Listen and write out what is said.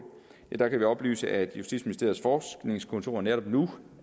der kan vi oplyse at justitsministeriets forskningskontor netop nu